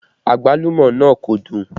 Àgbálùmọ́ náà kò dùn